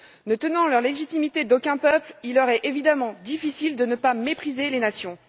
Ne tenant leur légitimité d'aucun peuple, il leur est évidemment difficile de ne pas mépriser les nations.